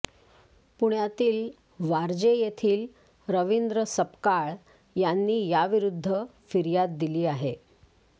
पुण्यातील वारजे येथील रवींद्र सपकाळ यांनी याविरुद्ध फिर्याद दिली आहे